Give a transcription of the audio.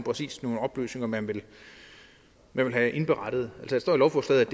nogle oplysninger man vil have indberettet der står i lovforslaget